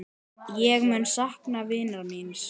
Ég mun sakna vinar míns.